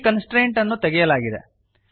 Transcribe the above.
ಈ ಕನ್ಸ್ಟ್ರೇಂಟ್ ಅನ್ನು ತೆಗೆಯಲಾಗಿದೆ